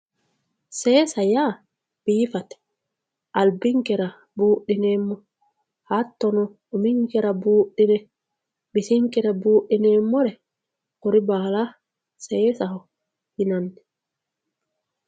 seesa yaa biifate albinkera buudhineemmo hattono uminkera buudhine bisinkera buudhineemmore kuri baala seesaho yinanni.